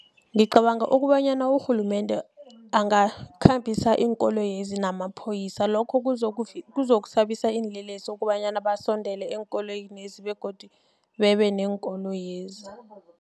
Ngicabanga ukobanyana urhulumende angakhambisa iinkoloyezi namapholisa lokho kuzokusabisa iinlelesi ukobanyana basondele eenkoloyini lezi begodu bebe neenkoloyezi.